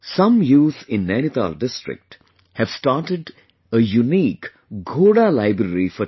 Some youth in Nainital district have started unique'Ghoda Library' for children